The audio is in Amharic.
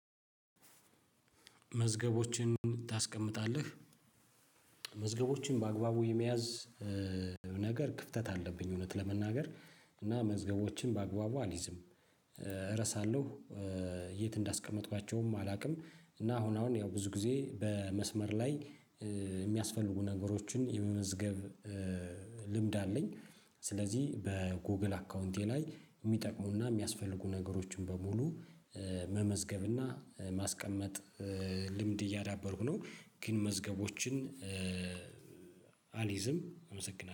መዝገቦችን ታስቀምጣለህ? መዝገቦችን በአግባቡ የመያዝ ነገር ክፍተት አለብኝ። እውነት ለመናገር። እና መዝገቦችን በአግባቡ አልይዝም። እረሳለሁ የት እንዳስቀመጥኳቸውም አላውቅም። እና አሁን አሁን ያው ብዙ ጊዜ በመስመር ላይ የሚያስፈልጉ ነገሮችን የመመዝገብ ልምድ አለኝ። ስለዚህ በጎግል አካውንቴ ላይ እሚጠቅሙና እሚያስፈልጉ ነገሮችን በሙሉ መመዝገብና ማስቀመጥ ልምድ እያዳበርኩ ነው። ግን መዝገቦችን አልይዝም አመሰግናለሁ